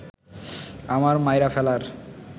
আমার মাইরা ফেলার